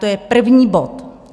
To je první bod.